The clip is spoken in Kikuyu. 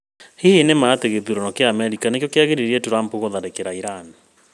Hihi nĩma atĩ gĩthurano kĩa Amerika nĩkĩo kĩagiririe Trump gũtharĩkĩra Iran?